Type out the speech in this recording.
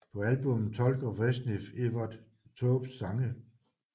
På albummet tolker Vreeswijk Evert Taubes sange